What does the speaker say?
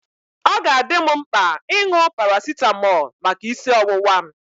Ọ ga-adị m mkpa ịṅụ parasitamol maka isi ọwụwa m.